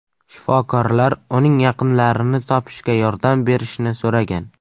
Shifokorlar uning yaqinlarini topishga yordam berishni so‘ragan.